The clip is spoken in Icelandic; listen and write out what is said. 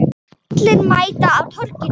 Allir mæta á Torginu